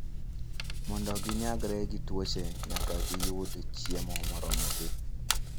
Mondo ginyagre gi tuoche, nyaka giyud chiemo moromogi.